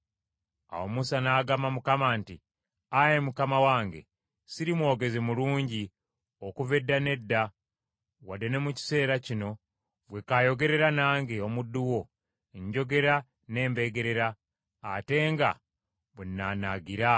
Awo Musa n’agamba Mukama nti, “Ayi Mukama wange, siri mwogezi mulungi okuva edda n’edda, wadde ne mu kiseera kino ggwe kaayogerera nange, omuddu wo; njogera nnembeggerera ate nga bwe nnaanaagira.”